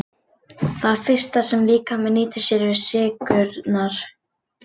Það fyrsta sem líkaminn nýtir sér eru sykrurnar.